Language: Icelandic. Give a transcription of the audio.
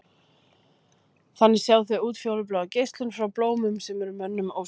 Þannig sjá þau útfjólubláa geislun frá blómum sem er mönnum ósýnileg.